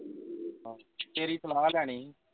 ਤੇਰੀ ਸਲਾਹ ਲੈਣੀ ਸੀ